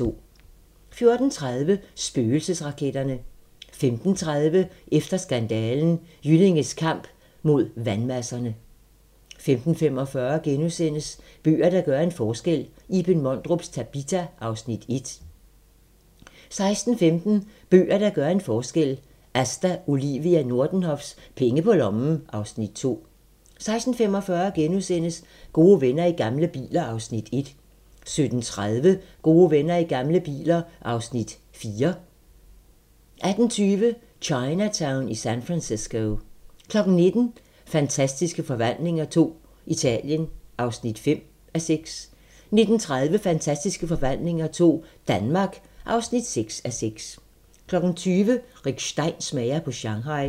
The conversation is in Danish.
14:30: Spøgelsesraketterne 15:30: Efter skandalen: Jyllinges kamp mod vandmasserne 15:45: Bøger, der gør en forskel - Iben Mondrups "Tabita" (Afs. 1)* 16:15: Bøger, der gør en forskel - Asta Olivia Nordenhofs "Penge på lommen" (Afs. 2) 16:45: Gode venner i gamle biler (Afs. 3)* 17:30: Gode venner i gamle biler (Afs. 4) 18:20: Chinatown i San Francisco 19:00: Fantastiske Forvandlinger II - Italien (5:6) 19:30: Fantastiske Forvandlinger II - Danmark (6:6) 20:00: Rick Stein smager på Shanghai